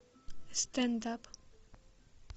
стендап